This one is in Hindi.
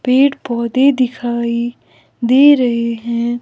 पेड़ पौधे दिखाई दे रहे हैं।